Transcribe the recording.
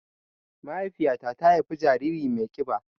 Mahaifiƴa ta ta haifa jariri mai kiɓa